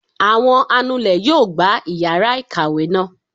Awọn anulè yóò gbá iyara ikáwe naa